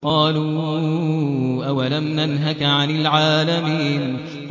قَالُوا أَوَلَمْ نَنْهَكَ عَنِ الْعَالَمِينَ